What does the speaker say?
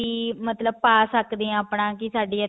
ਵੀ ਮਤਲਬ ਪਾ ਸਕਦੇ ਹਾਂ ਆਪਣਾ ਕੀ ਸਾਡੀ